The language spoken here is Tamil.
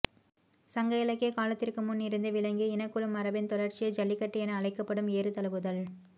சங்க இலக்கிய காலத்திற்கு முன் இருந்தே விளங்கிய இனக்குழு மரபின் தொடர்ச்சியே ஜல்லிக்கட்டு என அழைக்கப்படும் ஏறுதழுவுதல்